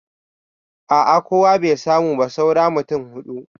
A a kowa bai samu ba saura mutum huɗu.